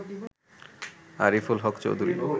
Ariful Haque Chowdhury